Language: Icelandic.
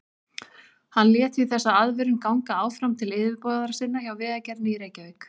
Hann lét því þessa aðvörun ganga áfram til yfirboðara sinna hjá Vegagerðinni í Reykjavík.